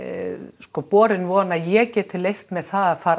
sko borin von að ég geti leyft mér það að fara